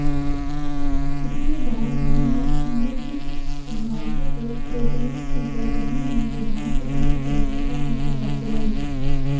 इसके बाद नवनिर्वाचित विधायकों को प्रोटेम स्पीकर रहीम ने विधानसभा की सदस्यता की शपथ दिलाई